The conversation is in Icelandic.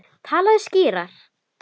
Talaðu skýrar.